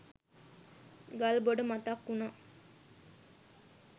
ගල්බොඩ මතක් උනා